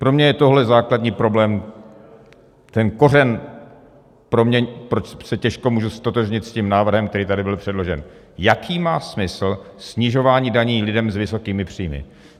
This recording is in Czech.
Pro mě je tohle základní problém, ten kořen pro mě, proč se těžko můžu ztotožnit s tím návrhem, který tady byl předložen, jaký má smysl snižování daní lidem s vysokými příjmy.